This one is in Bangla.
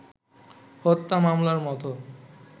হত্যা মামলার মতো